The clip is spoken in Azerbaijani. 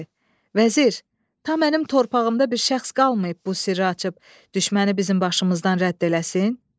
Vəzir, ta mənim torpağımda bir şəxs qalmayıb bu sirri açıb düşməni bizim başımızdan rədd eləsin?